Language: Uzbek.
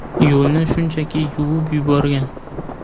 Yo‘lni shunchaki yuvib yuborgan.